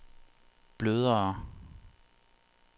blødere